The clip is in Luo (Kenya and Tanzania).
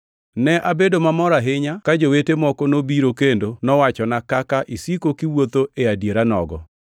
Ne abedo mamor ahinya ka jowete moko nobiro kendo mowachona kaka isiko kiwuotho e adieranogo.